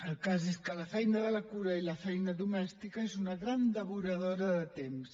el cas és que la feina de la cura i la feina domèstica són unes grans devoradores de temps